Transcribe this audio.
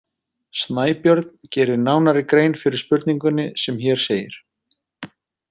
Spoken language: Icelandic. Snæbjörn gerir nánari grein fyrir spurningunni sem hér segir: